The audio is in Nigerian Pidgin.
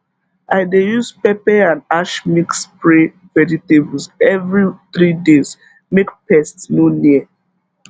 i dey use pepper and ash mix spray vegetables every three days make pest no near